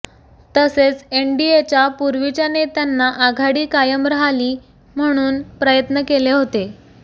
तसेच एनडीएच्या पूर्वीच्या नेत्यांना आघाडी कायम रहाली म्हणून प्रयत्न केले होते